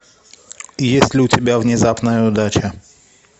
есть ли у тебя внезапная удача